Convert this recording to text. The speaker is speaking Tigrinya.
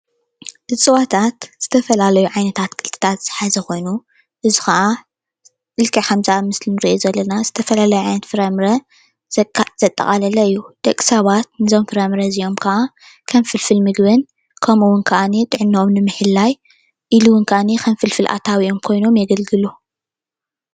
እፅዋታት ዝተፈላለዩ ዓይነት ኣትክልትታት ዝሓዘ ኮይኑ እዚ ከዓ ልክዕ ከም ኣብ ምስሊ እንሪኦ ዘለና ዝተፈላለየ ዓይነት ፍራ ምረ ዘጠቃለለ እዩ፡፡ ደቂ ሰባት ነዞም ፍራ ምረ እዚኦም ከዓ ከም ፍልፍል ምግብን ከምኡ ከዓኒ ድማ ጥዕነኦም ንምሕላው ኢሉ ከዓኒ ከም ፍልፍል ኣታዊኦም ኮይኖም የገልግሉ፡፡